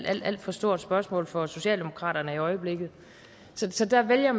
alt alt for stort spørgsmål for socialdemokratiet i øjeblikket så der vælger